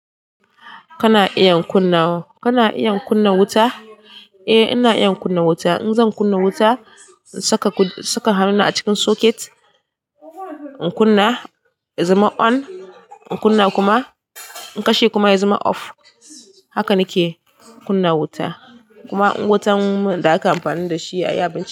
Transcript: Kana iya kunna, kana iya kunna wuta? Eh ina iya kunna wuta. In zan kunna wuta, in saka, saka hannuna a cikin socket in kunna ya zama on, in kunna kuma in kashe kuma ya zama off. Haka nake kunna wuta. Kuma wutan da aka amfani da shi a sai abarsh.